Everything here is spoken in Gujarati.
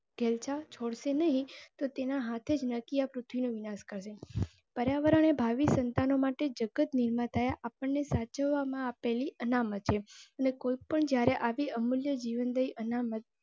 છોડશે નહીં તો તેના હાથે જ નાર્ગીય પૃથ્વી નો વિનાશ કરે. પર્યાવરણ ભાવિ સંતાન માટે જગત નિર્માતા આપણ ને સાચવામાં આપેલી અનામત છે. અને કોઈ પણ જ્યારે આવી અમૂલ્ય જીવનદયી નહીં અનામત.